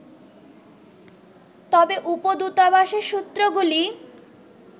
তবে উপ-দূতাবাসের সূত্রগুলি